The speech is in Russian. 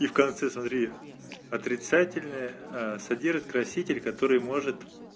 и в конце смотри отрицательная содержит краситель который может